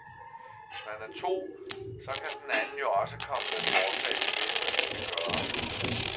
Hvis man er to, så kan den anden jo også komme med forslag til, hvad vi skal gøre.